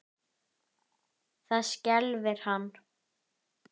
Það skelfir hann.